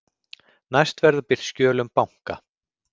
Næst verða birt skjöl um banka